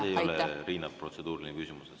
See ei ole, Riina, protseduuriline küsimus.